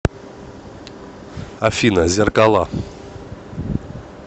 афина зеркала